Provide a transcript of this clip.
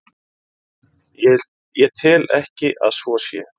Ég tel ekki að svo sé.